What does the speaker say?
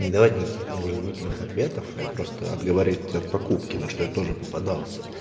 не давать никаких там вразумительных ответов и просто отговаривать от покупки на что я тоже попадался